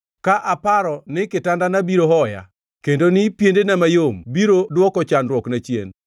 Ka aparo ni kitandana biro hoya kendo ni piendena mayom biro dwoko chandruokna chien,